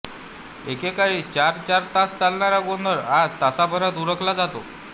एके काळी चार चार तास चालणारा गोंधळ आज तासाभरात उरकला जातो